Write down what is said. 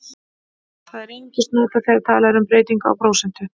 Það er einungis notað þegar talað er um breytingu á prósentu.